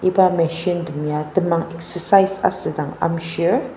iba machine tem ya temang exercise asüdang amshir.